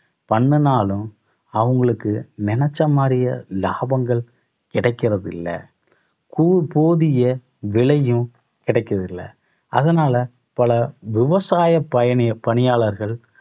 பண்ணுனாலும் அவங்களுக்கு நினைச்ச மாதிரியே லாபங்கள் கிடைக்கிறதில்லை கூபோதிய விலையும் கிடைக்கறது இல்லை. அதனால பல விவசாய பயண~ பணியாளர்கள்